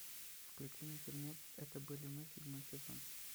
включи мне фильмец это были мы седьмой сезон